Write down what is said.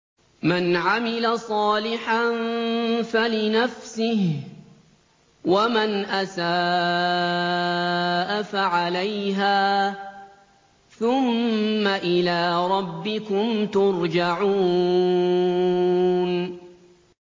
مَنْ عَمِلَ صَالِحًا فَلِنَفْسِهِ ۖ وَمَنْ أَسَاءَ فَعَلَيْهَا ۖ ثُمَّ إِلَىٰ رَبِّكُمْ تُرْجَعُونَ